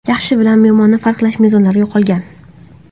Yaxshi bilan yomonni farqlash mezonlari yo‘qolgan.